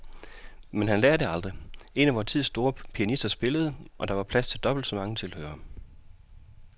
Men han lærer det aldrig. En af vor tids store pianister spillede, og der var plads til dobbelt så mange tilhørere.